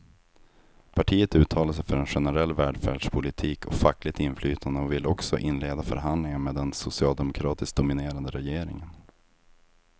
Partiet uttalar sig för generell välfärdspolitik och fackligt inflytande och vill också inleda förhandlingar med den socialdemokratiskt dominerade regeringen.